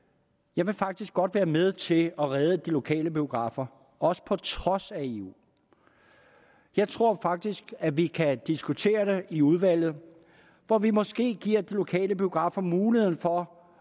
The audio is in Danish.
jeg vil faktisk godt være med til at redde de lokale biografer også på trods af eu jeg tror faktisk at vi kan diskutere det i udvalget hvor vi måske giver de lokale biografer muligheden for